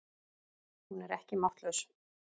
Hún er ekki máttlaus.